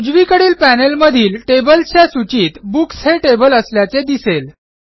उजवीकडील पॅनेलमधील टेबल्सच्या सूचीत बुक्स हे टेबल असल्याचे दिसेल